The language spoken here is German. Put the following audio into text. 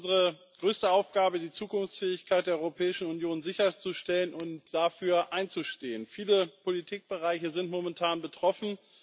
Es ist unsere größte Aufgabe, die Zukunftsfähigkeit der Europäischen Union sicherzustellen und dafür einzustehen. Viele Politikbereiche sind momentan betroffen.